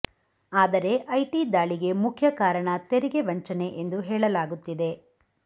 ಆದರೆ ಐಟಿ ದಾಳಿಗೆ ಮುಖ್ಯ ಕಾರಣ ತೆರಿಗೆ ವಂಚನೆ ಎಂದು ಹೇಳಲಾಗುತ್ತಿದೆ